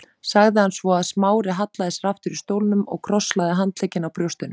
sagði hann svo og Smári hallaði sér aftur í stólnum og krosslagði handleggina á brjóstinu.